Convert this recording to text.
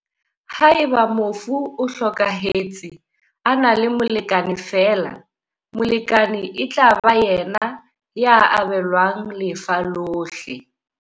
Haeba mofu o hlokahe tse a na le molekane feela, molekane e tla ba yena ya abelwang lefa lohle.